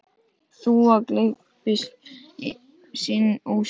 Þúfa gleypti sinn ósigur.